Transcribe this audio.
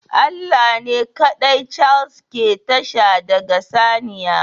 Allah ne kaɗai Chase ke tashi daga saniya